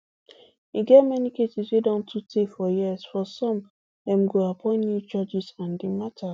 e get many cases wey don too tey for years for some dem go appoint new judges and di mata